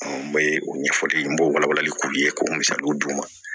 N bɛ o ɲɛfɔli kɛ n b'o wala walali k'u ye k'o misaliw d'u ma